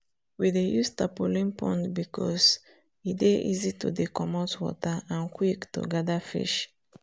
we dey use tarpaulin pond because e dey easy to dcomot water and quick to gather fish